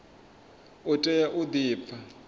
u tea u di pfa